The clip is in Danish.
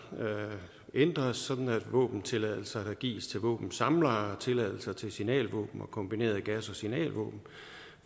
ændres sådan at våbentilladelser der gives til våbensamlere og tilladelser til signalvåben og kombinerede gas og signalvåben